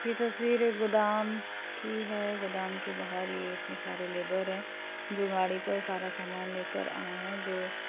ये तस्वीर एक गोदाम की है गोदाम के बाहर ये इतने सारे लेबर हैं जो गाड़ी पर सारा सामान लेकर आये हैं जो --